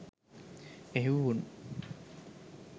එහෙවු උන්